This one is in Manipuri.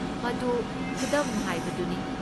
ꯃꯗꯨ ꯈꯨꯗꯝ ꯍꯥꯏꯕꯗꯨꯅꯤ ꯫